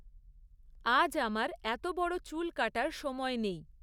আজ আমার এত বড় চুল কাটার সময় নেই।